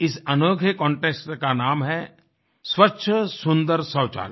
इस अनोखे कंटेस्ट का नाम है स्वच्छ सुन्दर शौचालय